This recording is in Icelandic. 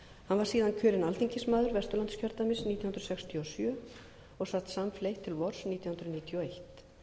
hann var síðan kjörinn alþingismaður vesturlandskjördæmis nítján hundruð sextíu og sjö og sat samfleytt til vors nítján hundruð níutíu og eitt